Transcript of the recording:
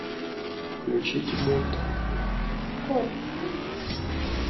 включить мульт